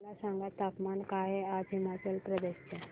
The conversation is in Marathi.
मला सांगा तापमान काय आहे आज हिमाचल प्रदेश चे